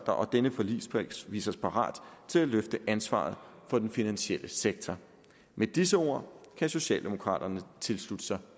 og at denne forligskreds viser sig parat til at løfte ansvaret for den finansielle sektor med disse ord kan socialdemokraterne tilslutte sig